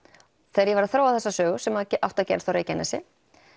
þegar ég var að þróa þessa sögu sem átti að gerast á Reykjanesi